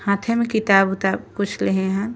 हाथे में किताब उताब कुछ लिये हान।